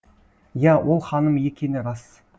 иә ол ханым екені рас